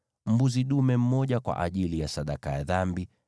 mbuzi dume mmoja kwa ajili ya sadaka ya dhambi;